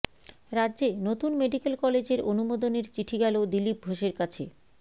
রাজ্যে নতুন মেডিক্যাল কলেজের অনুমোদনের চিঠি গেল দিলীপ ঘোষের কাছে